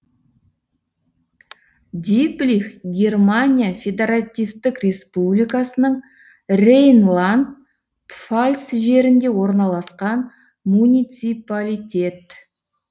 диблих германия федаративтік республикасының рейнланд пфальц жерінде орналасқан муниципалитет